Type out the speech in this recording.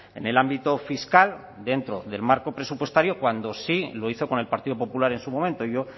en el ámbito fiscal dentro del marco presupuestario cuando sí lo hizo con el partido popular en su momento yo